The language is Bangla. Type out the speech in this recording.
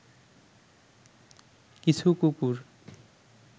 কিছু কুকুর